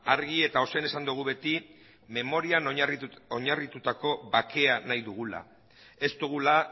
argi eta ozen esan dugu beti memorian oinarritutako bakeak nahi dugula ez dugula